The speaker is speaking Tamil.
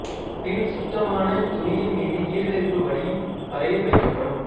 பின் சுத்தமான துணியின் மீது ஈரலிப்பு வடியும் வரையில் வைக்கப்படும்